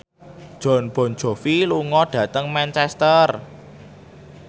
Jon Bon Jovi lunga dhateng Manchester